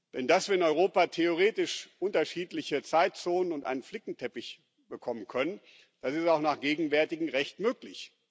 Denn dass wir in Europa theoretisch unterschiedliche Zeitzonen und einen Flickenteppich bekommen können, das ist auch nach gegenwärtigem Recht möglich.